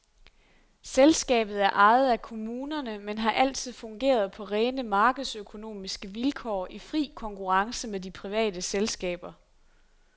Selskabet er ejet af kommunerne, men har altid fungeret på rene markedsøkonomiske vilkår i fri konkurrence med de private selskaber.